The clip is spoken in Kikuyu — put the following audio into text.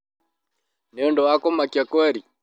Nĩ ũndũ wa kũmakĩa kweri?